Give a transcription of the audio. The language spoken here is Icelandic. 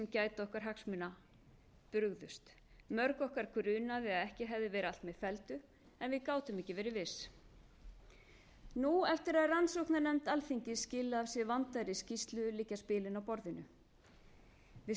gæta áttu hagsmuna okkar brugðust mörg okkar grunaði að ekki hefði verið allt með felldu en við gátum ekki verið viss nú eftir að rannsóknarnefnd alþingis skilaði af sér vandaðri skýrslu liggja spilin á